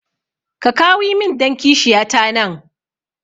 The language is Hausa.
Ka kawi min dan kishiya ta nan